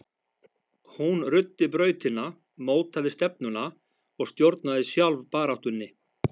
Hún ruddi brautina, mótaði stefnuna og stjórnaði sjálf baráttunni.